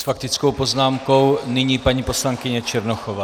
S faktickou poznámkou nyní paní poslankyně Černochová.